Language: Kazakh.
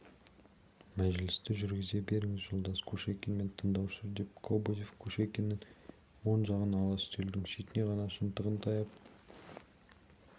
мәжілісті жүргізе беріңіз жолдас кушекин мен тыңдаушы деп кобозев кушекиннің оң жағын ала үстелдің шетіне ғана шынтағын таяп